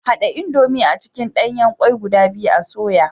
Hada indomie a cikin danyen kwai guda biyu a soya.